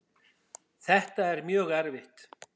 Þetta er mjög erfitt.